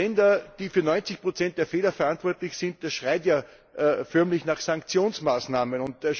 Sechs Länder sind für 90 der Fehler verantwortlich sind das schreit ja förmlich nach Sanktionsmaßnahmen!